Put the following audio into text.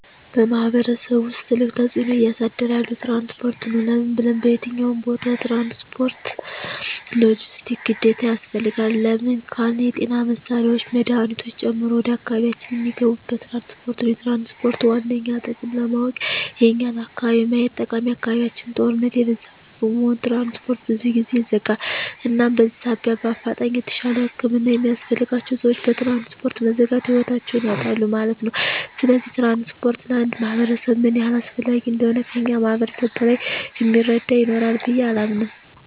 በማሕበረሰቡ ውስጥ ትልቅ ተፅዕኖ እያሳደረ ያለዉ ትራንስፖርት ነዉ። ለምን ብንል በየትኛዉም ቦታ ትራንስፖርት(ሎጀስቲክስ) ግዴታ ያስፈልጋል። ለምን ካልን የጤና መሳሪያወች መድሀኒቶችን ጨምሮ ወደ አካባቢያችን እሚገቡት በትራንስፖርት ነዉ። የትራንስፖርትን ዋነኛ ጥቅም ለማወቅ የኛን አካባቢ ማየት ጠቃሚ አካባቢያችን ጦርነት የበዛበት በመሆኑ ትራንስፖርት ብዙ ጊዜ ይዘጋል እናም በዚህ ሳቢያ በአፋጣኝ የተሻለ ህክምና የሚያስፈልጋቸዉ ሰወች በትራንስፖርት መዘጋት ህይወታቸዉን ያጣሉ ማለት ነዉ። ስለዚህ ትራንስፖርት ለአንድ ማህበረሰብ ምን ያህል አስፈላጊ እንደሆነ ከእኛ ማህበረሰብ በላይ እሚረዳ ይኖራል ብየ አላምንም።